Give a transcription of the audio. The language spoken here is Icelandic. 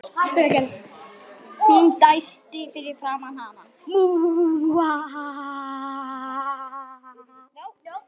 Hún dæsti fyrir framan hann.